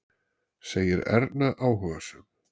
segir Erna áhugasöm.